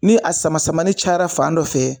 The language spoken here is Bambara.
Ni a sama samani cayara fan dɔ fɛ